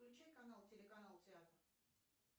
включи канал телеканал театр